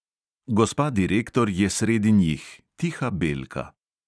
Gospa direktor je sredi njih, tiha belka.